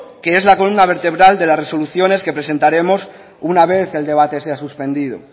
que es la columna vertebral de las resoluciones que presentaremos una vez el debate sea suspendido